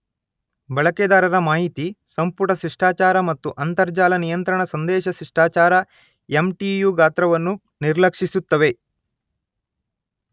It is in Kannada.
ಬಳಕೆದಾರ ಮಾಹಿತಿ, ಸಂಪುಟ ಶಿಷ್ಟಾಚಾರ ಮತ್ತು ಅಂತರಜಾಲ ನಿಯಂತ್ರಣಾ ಸಂದೇಶ ಶಿಷ್ಟಾಚಾರ ಎಂಟಿಯು ಗಾತ್ರವನ್ನು ನಿರ್ಲಕ್ಷಿಸುತ್ತವೆ.